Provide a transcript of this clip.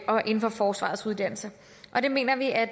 og inden for forsvarets uddannelser og det mener vi at